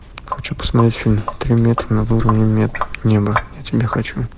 хочу посмотреть фильм три метра над уровнем неба я тебя хочу